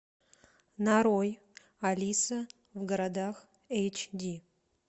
нарой алиса в городах эйч ди